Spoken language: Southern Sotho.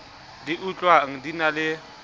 di utlwang di na le